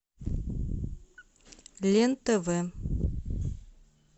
лен тв